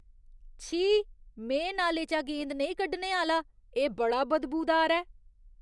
छी, में नाले चा गेंद नेईं कड्ढने आह्‌ला । एह् बड़ा बदबूदार ऐ।